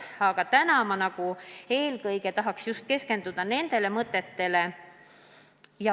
Aga täna ma tahaks eelkõige keskenduda nendele ettepanekutele.